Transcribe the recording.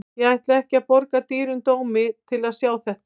Ég ætla ekki að borga dýrum dómi til að sjá þetta.